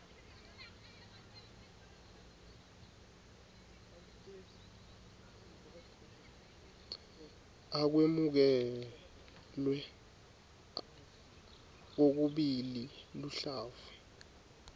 akwemukelwe kokubili luhlavu